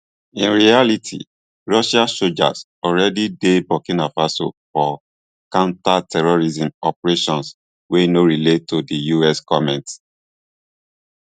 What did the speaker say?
in reality russian soldiers already dey burkina faso for counterterrorism operations wey no relate to di us comments